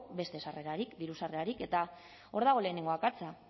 beste sarrerarik diru sarrerarik eta hor dago lehenengo akatsa